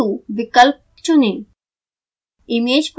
फिर export to विकल्प चुनें